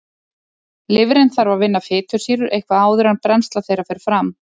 Lifrin þarf að vinna fitusýrur eitthvað áður en brennsla þeirra fer fram.